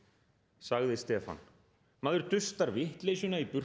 sagði Stefán maður dustar vitleysuna í burtu